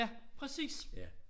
Ja præcis